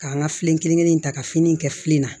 K'an ka filen kelen in ta ka fini in kɛ fili la